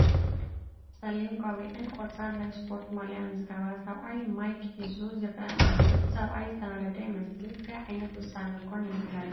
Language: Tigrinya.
ፀሊም ቆቢዕን ቆፃል ናይ ስፓርት ማልያን ዝገበረ ሰብኣይ ማይክ ሒሱ ይረአ ኣሎ፡፡ እቲ ሰብኣይ ዝተናደደ ይመስል፡፡ እንታይ ዓይነት ውሳነ ኮን የመሓላልፍ ይህሉ ይመስለኩም?